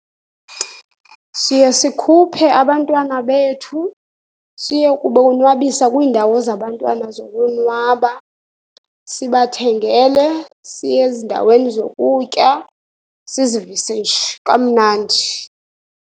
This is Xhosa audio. Siye sikhuphe abantwana bethu, siye kubonwabisa kwiindawo zabantwana zokonwaba. Sibathengele, siye ezindaweni zokutya, sizivise nje kamnandi.